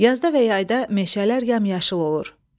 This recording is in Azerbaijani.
Yazda və yayda meşələr yamyaşıl olur.